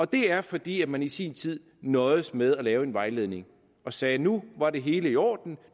det er fordi man i sin tid nøjedes med at lave en vejledning og sagde at nu var det hele i orden